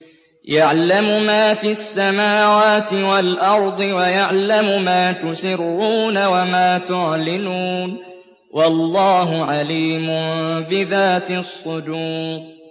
يَعْلَمُ مَا فِي السَّمَاوَاتِ وَالْأَرْضِ وَيَعْلَمُ مَا تُسِرُّونَ وَمَا تُعْلِنُونَ ۚ وَاللَّهُ عَلِيمٌ بِذَاتِ الصُّدُورِ